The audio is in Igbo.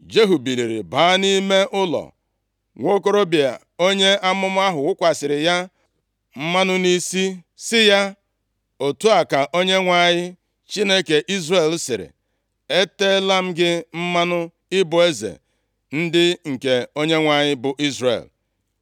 Jehu biliri baa nʼime ụlọ. Nwokorobịa onye amụma ahụ wụkwasịrị ya mmanụ nʼisi, sị ya, “Otu a ka Onyenwe anyị, Chineke Izrel sịrị, ‘Eteela m gị mmanụ ịbụ eze ndị nke Onyenwe anyị, bụ Izrel.